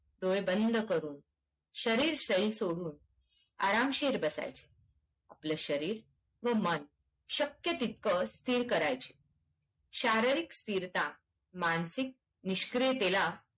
डोळे बंद करून शरीर शय्य सोडून आरामशीर बसायची आपले शरीर व मन शक्क तितक स्थिर करायचं शारीरिक स्थिरता मानसिक निष्क्रियतेला